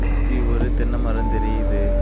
சுத்தி ஒரு தென்னை மரம் தெரியுது.